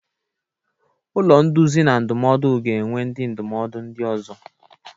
Ụlọ nduzi na ndụmọdụ ga-enwe ndị ndụmọdụ ndị ọzọ.